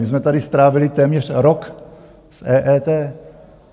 My jsme tady strávili téměř rok s EET.